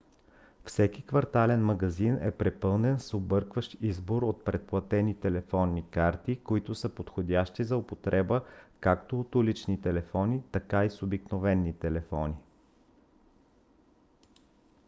всеки квартален магазин е препълнен с объркващ избор от предплатени телефонни карти които са подходящи за употреба както от улични телефони така и с обикновени телефони